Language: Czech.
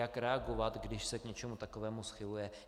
Jak reagovat, když se k něčemu takovému schyluje.